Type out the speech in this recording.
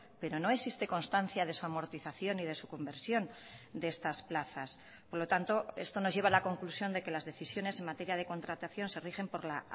pero no existe constancia de su amortización y de su conversión de estas plazas por lo tanto esto nos lleva a la conclusión de que las decisiones en materia de contratación se rigen por la